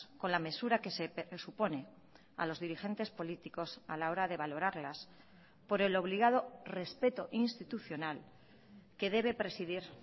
con la mesura que se supone a los dirigentes políticos a la hora de valorarlas por el obligado respeto institucional que debe presidir